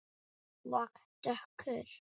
Og dökkur.